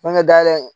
Banke dayɛlɛ